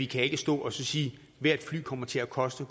kan stå og sige at hvert fly kommer til at koste